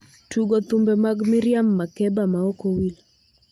Tugo thumbe mag miriam makeba maok owil